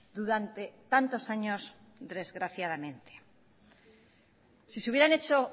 durante tantos años desgraciadamente si se hubieran hecho